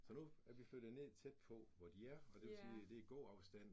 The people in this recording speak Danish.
Så nu er vi flyttet ned tæt på, hvor de er, og det vil sige det i gåafstand